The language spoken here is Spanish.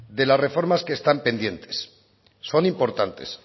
de las reformas que está pendientes son importantes